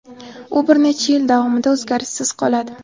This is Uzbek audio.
U bir necha yil davomida o‘zgarishsiz qoladi.